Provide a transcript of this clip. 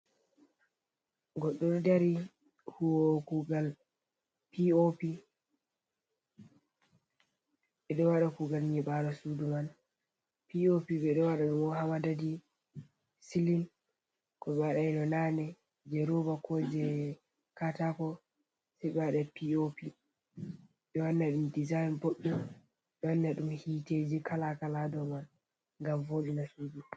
Goɗɗo ɗo dari huwowo kugal pop, ɓe ɗo waɗa kugal nyiɓalo suudu man, pop ɓe ɗo waɗa ɗum ha madadi silin, ko ɓe waɗaino nane je ruba, ko je katako, ɓe ɗo waɗa pop ɓe wanna ɗum dizayin boɗɗum, be wanna um hiteji kala kala ha dou man ngam vodina suudu.